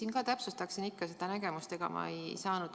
Ma palun täpsustada seda nägemust.